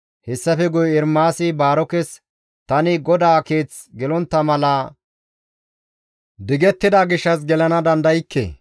Hessafe guye Ermaasi Baarokes, «Tani GODAA Keeth gelontta mala digettida gishshas gelana dandaykke.